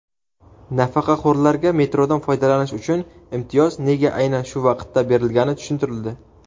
Nafaqaxo‘rlarga metrodan foydalanish uchun imtiyoz nega aynan shu vaqtda berilgani tushuntirildi.